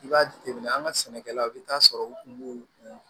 I b'a jateminɛ an ka sɛnɛkɛlaw i bɛ taa sɔrɔ u kun b'u u